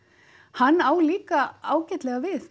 hann á líka ágætlega við